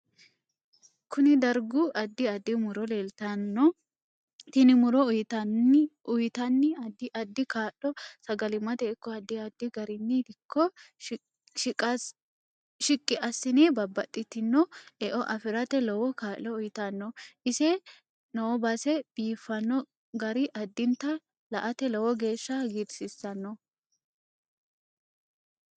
Kune darga addi addi muro leeltanno tini muro uyiiitanni addi addi kaa'lo sagalimate ikko addi addi garinni dikko shiqqi asine babaxitino e'o afirate lowo kaa'lo uyiitanno ise noobase biifino gari addinta la'ate lowo geesha hagiirsiisanno